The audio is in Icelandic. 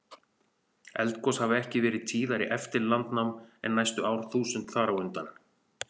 Eldgos hafa ekki verið tíðari eftir landnám en næstu árþúsund þar á undan.